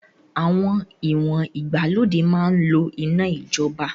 Àwọn ìwọ̀n ìgbàlódé máa ń lò iná ìjọba